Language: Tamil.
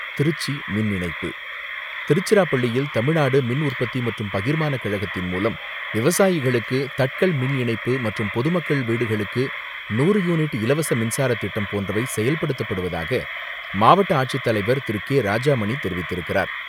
திருச்சி மின் இணைப்பு திருச்சிராப்பள்ளியில் தமிழ்நாடு மின்உற்பத்தி மற்றும் பகிர்மான கழகத்தின் மூலம், விவசாயிகளுக்கு தட்கல் மின் இணைப்பு மற்றும் பொதுமக்கள் வீடுகளுக்கு நூறு யூனிட் இலவச மின்சார திட்டம் போன்றவை செயல்படுத்தப்படுவதாக, மாவட்ட ஆட்சித்தலைவர் திரு.கே.ராஜாமணி தெரிவித்திருக்கிறார்.